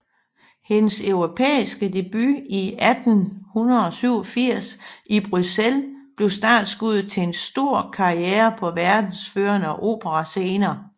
Hendes europæiske debut i 1887 i Bruxelles blev startskuddet til en stor karriere på verdens førende operascener